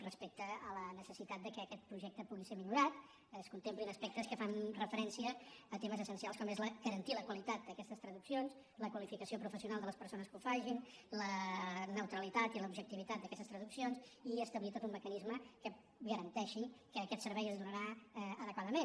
respecte a la necessitat que aquest projecte pugui ser millorat es contemplin aspectes que fan referència a temes essencials com és garantir la qualitat d’aquestes traduccions la qualificació professional de les perso·nes que ho facin la neutralitat i l’objectivitat d’aques·tes traduccions i establir tot un mecanisme que ga·ranteixi que aquest servei es donarà adequadament